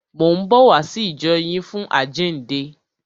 Mò ń bọ̀ wá sí ìjọ yín fún àjíǹde.